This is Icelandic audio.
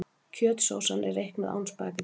Kjötsósan er reiknuð án spaghettís.